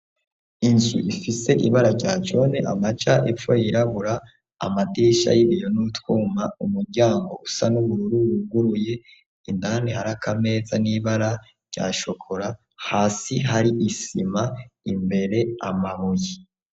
Inzu ifise ibara rya none amaja epfo yirabura amadisha y'ibiyo n'utwuma umuryango usa n'ubururu wuguruye indani harakameza n'ibara ryashokora hasi hari isima imbere amabuyi.